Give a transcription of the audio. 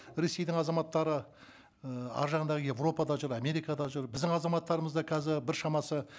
ресейдің азаматтары і арғы жағындағы еуропада жүр америкада жүр біздің азаматтарымыз да қазір біршамасы